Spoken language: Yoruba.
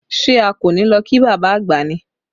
Ṣé a kò ní lọ kí bàbá àgbà ni?